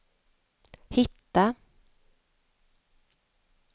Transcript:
hitta